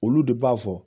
Olu de b'a fɔ